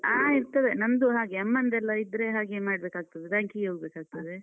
ಆ, ಇರ್ತದೆ. ನಮ್ದು ಹಾಗೆ ಅಮ್ಮಂದೆಲ್ಲ ಇದ್ರೆ ಹಾಗೆ ಮಾಡ್ಬೇಕಾಗ್ತದೆ. ಬ್ಯಾಂಕಿಗೇ ಹೋಗ್ಬೇಕಾಗ್ತದೆ.